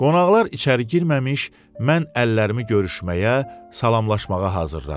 Qonaqlar içəri girməmiş, mən əllərimi görüşməyə, salamlaşmağa hazırladım.